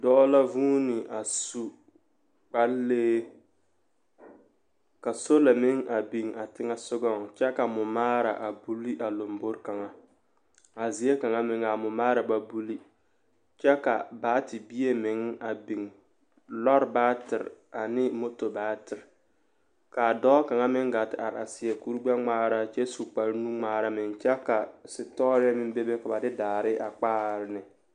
Dɔɔ la huune a su kparlee ka sola meŋ biŋ a teŋɛ soɡaŋ kyɛ ka mɔmaara a buli a lambori kaŋa a zie kaŋa meŋ a mɔmaara ba buli kyɛ ka baatebie meŋ biŋ lɔɔre baater ane moto baater ka a dɔɔ kaŋ meŋ ɡaa te are a seɛ kurɡbɛŋmaara kyɛ su kparnuŋmaara meŋ kyɛ sitɔɔrɛɛ meŋ bebe ka ba de daare a kpaare ne.